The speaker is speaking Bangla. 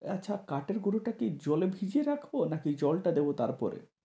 আচ্ছা কাঠের গুড়োটা কি জলে ভিজিয়ে রাখবো নাকি জলটা দিবো তার পরে?